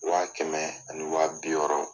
Wa kɛmɛ ani waa bi wɔɔrɔ